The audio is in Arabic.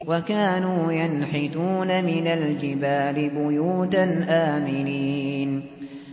وَكَانُوا يَنْحِتُونَ مِنَ الْجِبَالِ بُيُوتًا آمِنِينَ